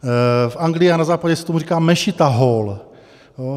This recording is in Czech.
V Anglii a na Západě se tomu říká mešita hall.